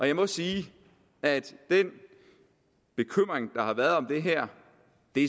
jeg må sige at den bekymring der har været om det her